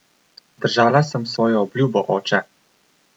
Držala sem svojo obljubo, oče!